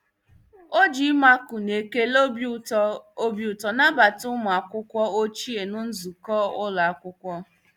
O ji ịmakụ na ekele obi ụtọ obi ụtọ nabata ụmụ akwụkwọ ochie na nzukọ ụlọ akwụkwọ.